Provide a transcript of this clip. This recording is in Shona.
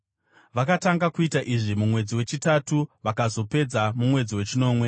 Vakatanga kuita izvi mumwedzi wechitatu vakazopedza mumwedzi wechinomwe.